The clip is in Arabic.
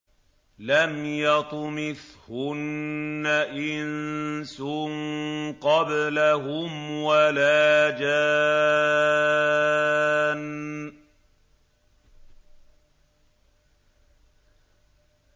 لَمْ يَطْمِثْهُنَّ إِنسٌ قَبْلَهُمْ وَلَا جَانٌّ